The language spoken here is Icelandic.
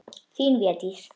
Þin Védís.